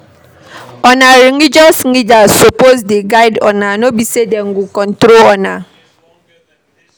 Una religious leaders suppose dey guide una no be sey dem go control una.